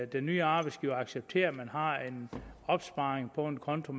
den nye arbejdsgiver acceptere at man har en opsparing på en konto